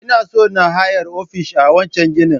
Ina so na hayar ofishi a wancen ginin